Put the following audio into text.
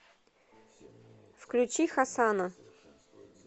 включи хасана